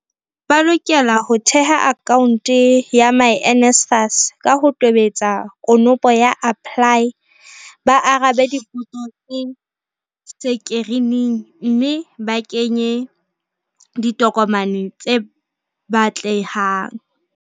Ba lokela ho theha akhaonte ya myNSFAS, ka ho tobetsa konopo ya APPLY, ba arabe dipotso tse sekirining mme ba kenye ditokomane tse batle hang.